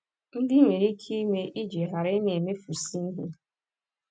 ndị iye echi ime iji ghara ịna - emefusị ihe